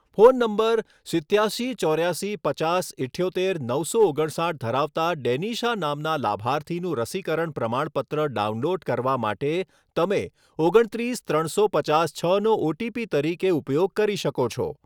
phone number સિત્યાસી ચોર્યાસી પચાસ ઇઠ્યોતેર નવસો ઓગણસાઠ ધરાવતા ડેનિશા નામનાં લાભાર્થીનું રસીકરણ પ્રમાણપત્ર ડાઉનલોડ કરવા માટે તમે ઓગણત્રીસ ત્રણસો પચાસ છનો ઓટીપી તરીકે ઉપયોગ કરી શકો છો